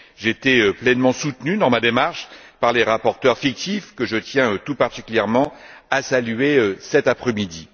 J'ai été pleinement soutenu dans ma démarche par les rapporteurs fictifs, que je tiens tout particulièrement à saluer cet après midi.